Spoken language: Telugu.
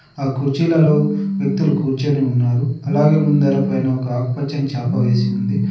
ఆ కుర్చీల లో వ్యక్తులు కూర్చొని ఉన్నారు అలాగే ముందర పైన ఒక ఆకుపచ్చని చాప వేసి ఉంది.